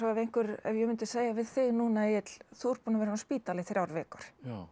ef ég myndi segja við þig núna Egill þú ert búinn að vera inni á spítala í þrjár vikur